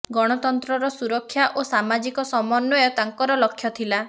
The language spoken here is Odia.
ଗଣତନ୍ତ୍ରର ସୁରକ୍ଷା ଓ ସାମାଜିକ ସମନ୍ୱୟ ତାଙ୍କର ଲକ୍ଷ ଥିଲା